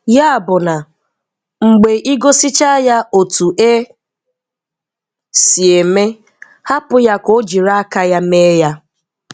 Ya bụ na, mgbe ịgosichaa ya otu e si eme, hapụ ya ka o jiri aka ya mee ya.